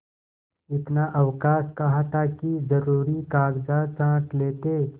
इतना अवकाश कहाँ था कि जरुरी कागजात छॉँट लेते